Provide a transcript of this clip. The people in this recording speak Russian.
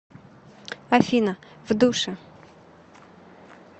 афина в душе